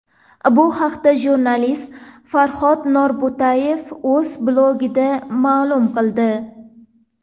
Bu haqda jurnalist Farhod Norbo‘tayev o‘z blogida ma’lum qildi .